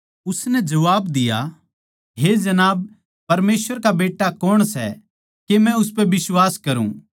उसनै जबाब दिया हे जनाब परमेसवर का बेट्टा कौण सै के मै उसपै बिश्वास करूँ